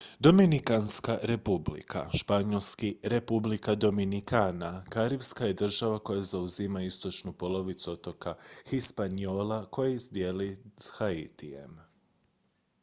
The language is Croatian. dominikanska republika španjolski: república dominicana karipska je država koja zauzima istočnu polovicu otoka hispaniola koji dijeli s haitijem